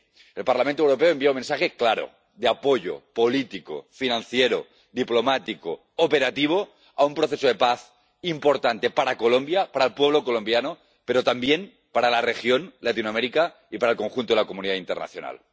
El Parlamento Europeo envía un mensaje claro de apoyo político, financiero, diplomático y operativo a un proceso de paz importante para Colombia, para el pueblo colombiano, pero también para la región, Latinoamérica, y para el conjunto de la comunidad internacional.